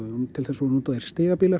til þess voru notaðir